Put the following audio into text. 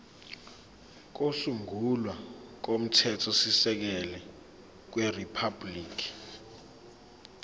kokusungula komthethosisekelo weriphabhuliki